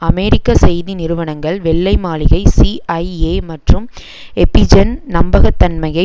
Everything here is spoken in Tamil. அமெரிக்க செய்தி நிறுவனங்கள் வெள்ளை மாளிகை சிஐஏ மற்றும் எப்பிஐன் நம்பகத்தன்மையை